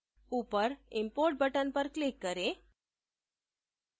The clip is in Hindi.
ऊपर import button पर click करें